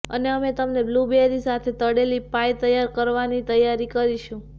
અને અમે તમને બ્લૂબૅરી સાથે તળેલી પાઈ તૈયાર કરવાની તૈયારી કરીશું